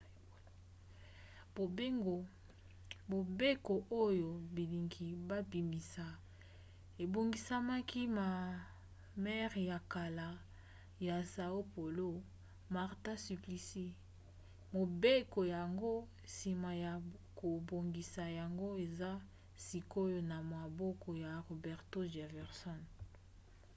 mobeko oyo bilingi babimisa ebongisamaki na maire ya kala ya são paulo marta suplicy. mobeko yango nsima ya kobongisa yango eza sikoyo na maboko ya roberto jefferson